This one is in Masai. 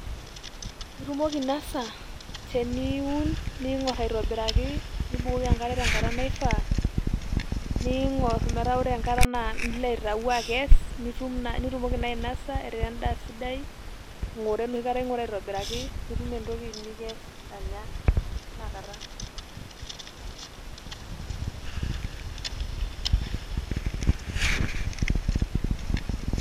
Itumoki aainosa teniun ning'or aitobiraki nibukoki enkare tenkata naifaa niing'or metaa ore enkata naa iloaitayu akes nitumoki naa ainosa etaa endaa sidai ing'ora enoshi kata irngura aitobiraki nikes anya tinakata .